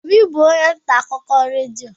Obi bụ onye nta akụkọ redio.